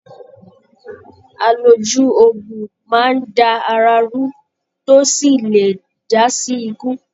Aloju ogún máa n dá àrà ru tó sì lè jasi ikú.